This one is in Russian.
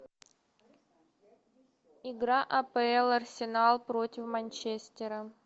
игра апл арсенал против манчестера